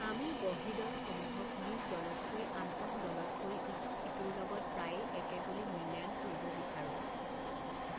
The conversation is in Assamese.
আমি বহিঃদল সমূহক নিজ দলতকৈ আন্তঃদলতকৈ ইটো সিটোৰ লগত প্ৰায়ে একে বুলি মূল্যায়ন কৰিব বিচাৰো।